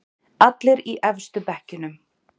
Allir í efstu bekkjunum.